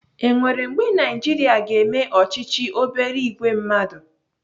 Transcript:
Enwere mgbe Naijiria ga-eme ọchịchị obere ìgwè mmadụ?